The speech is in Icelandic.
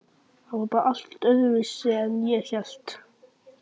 Hann var bara allt öðruvísi en ég hélt.